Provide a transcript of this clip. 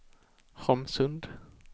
Holmsund